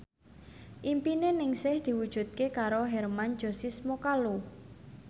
impine Ningsih diwujudke karo Hermann Josis Mokalu